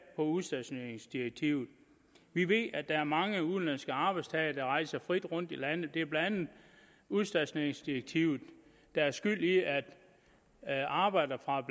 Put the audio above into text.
på udstationeringsdirektivet vi ved at der er mange udenlandske arbejdstagere der rejser frit rundt i landet det er blandt andet udstationeringsdirektivet der er skyld i at arbejdere fra